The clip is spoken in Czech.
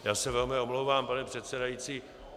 Já se velmi omlouvám, pane předsedající.